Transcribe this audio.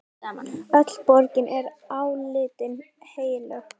Öll borgin er álitin heilög.